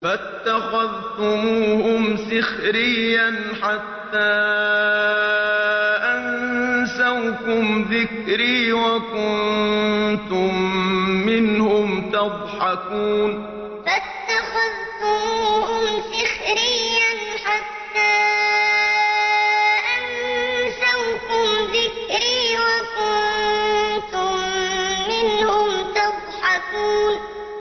فَاتَّخَذْتُمُوهُمْ سِخْرِيًّا حَتَّىٰ أَنسَوْكُمْ ذِكْرِي وَكُنتُم مِّنْهُمْ تَضْحَكُونَ فَاتَّخَذْتُمُوهُمْ سِخْرِيًّا حَتَّىٰ أَنسَوْكُمْ ذِكْرِي وَكُنتُم مِّنْهُمْ تَضْحَكُونَ